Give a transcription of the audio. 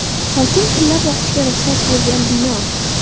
Hokim pilla boqishga ruxsat bergan bino.